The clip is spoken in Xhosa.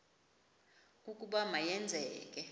ukuba ma yenzeke